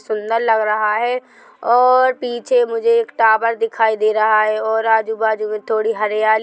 सुंदर लग रहा है और पीछे मुझे एक टावर दिखाई दे रहा है और आजू-बाजू में थोड़ी हरियाली--